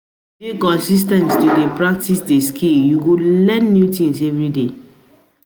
If you de consis ten t to de practice di skill you go de learn new things